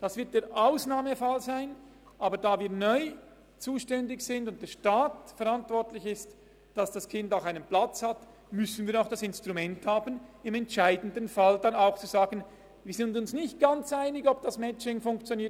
Das wird der Ausnahmefall sein, aber da wir neu zuständig sind und der Staat verantwortlich ist, dass das Kind einen Platz hat, müssen wir auch das Instrument haben, im entscheidenden Fall verfügen zu können, dass das Kind in eine Schule kommt, selbst wenn man sich nicht ganz einig ist, ob das Matching dort funktioniert.